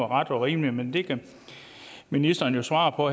ret og rimeligt men det kan ministeren jo svare på